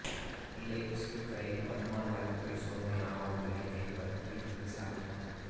நெல்லை sweet கடையில் வருமான வரித்துறை சோதனை ஆவணங்களை கைப்பற்றி விசாரணை